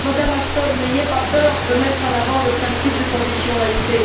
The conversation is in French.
Madame Ashton, n'ayez pas peur de mettre en avant le principe de conditionnalité.